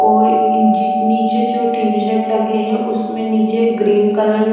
और इन जी नीचे जो टी शर्ट लगे हैं उसमें नीचे ग्रीन कलर --